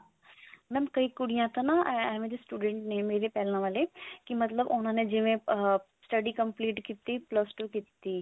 mam ਕਈ ਕੁੜੀਆਂ ਤਾਂ ਨਾ ਏਵੇਂ ਦੇ students ਨੇ ਮੇਰੇ ਪਹਿਲਾਂ ਵਾਲੇ ਕੀ ਮਤਲਬ ਉਹਨਾਂ ਨੇ ਜਿਵੇਂ ah study complete ਕੀਤੀ plus two